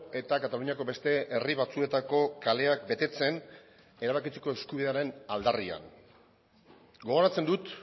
eta kataluniako beste herri batzuetako kaleak betetzen erabakitzeko eskubidearen aldarrian gogoratzen dut